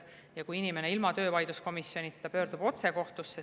Inimene ilma töövaidluskomisjonita pöörduda otse kohtusse.